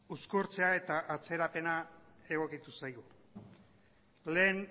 uzkurtzea eta atzerapena egokitu zaigu lehen